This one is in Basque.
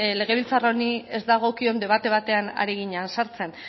legebiltzar honi ez dagokion debate batean ari ginen sartzen